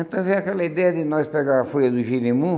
Então veio aquela ideia de nós pegarmos a folha do gerimum